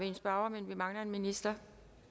en spørger men vi mangler en minister